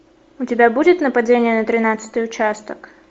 у тебя будет нападение на тринадцатый участок